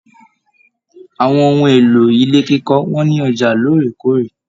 Àwọn ohùn èlò ilé kíkọ wọ́n ní ọjà lóòrèkóòrè.